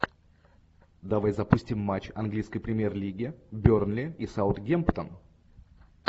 давай запустим матч английской премьер лиги бернли и саутгемптон